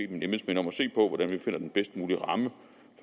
mine embedsmænd om at se på hvordan vi finder den bedst mulige ramme